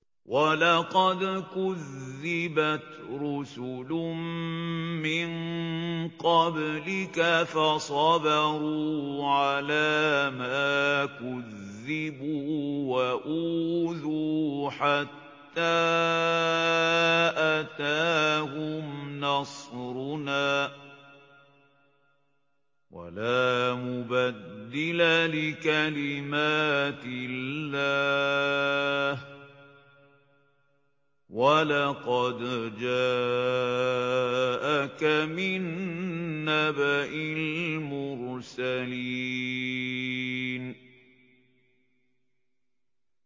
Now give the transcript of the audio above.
وَلَقَدْ كُذِّبَتْ رُسُلٌ مِّن قَبْلِكَ فَصَبَرُوا عَلَىٰ مَا كُذِّبُوا وَأُوذُوا حَتَّىٰ أَتَاهُمْ نَصْرُنَا ۚ وَلَا مُبَدِّلَ لِكَلِمَاتِ اللَّهِ ۚ وَلَقَدْ جَاءَكَ مِن نَّبَإِ الْمُرْسَلِينَ